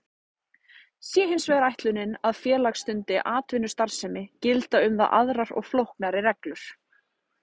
Sé hins vegar ætlunin að félag stundi atvinnustarfsemi gilda um það aðrar og flóknari reglur.